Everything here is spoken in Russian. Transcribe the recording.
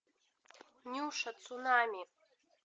нюша цунами